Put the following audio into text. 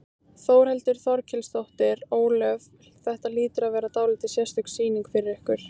Þórhildur Þorkelsdóttir: Ólöf, þetta hlýtur að vera dálítið sérstök sýning fyrir ykkur?